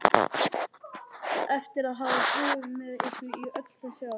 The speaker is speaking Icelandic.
Eftir að hafa búið með ykkur í öll þessi ár?